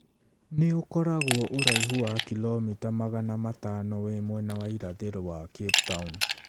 Nĩ ũkoragwo ũraihu wa kilomita magana matano wĩ mwena wa irathĩro wa Cape Town.